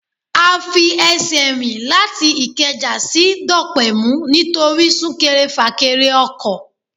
A fi ẹsẹ̀ rìn láti ìkẹjà sí Dọ̀pẹ̀mú nítorí sún-kẹrẹ-fà-kẹrẹ ọkọ̀.